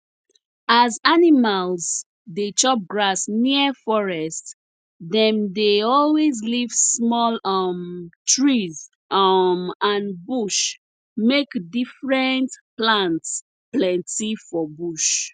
as animals dey chop grass near forest dem dey always leave small um trees um and bush make different plants plenty for bush